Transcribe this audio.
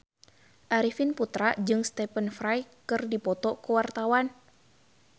Arifin Putra jeung Stephen Fry keur dipoto ku wartawan